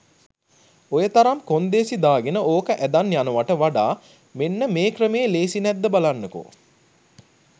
ඔයතරම් කොන්දේසි දාගෙන ඕක ඇදන් යනවට වඩා මෙන්න මේ ක්‍රමේ ලේසි නැද්ද බලන්නකෝ.